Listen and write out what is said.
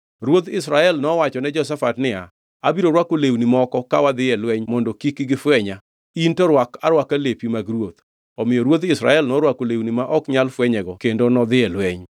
Ruodh Israel nowachone Jehoshafat niya, “Abiro rwako lewni moko ka wadhi e lweny mondo kik gifwenya, in to rwak arwaka lepi mag ruoth.” Omiyo ruodh Israel norwako lewni ma ok nyal fwenyego kendo nodhi e lweny.